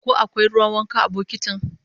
Ko akwai ruwan wanka a bokotin?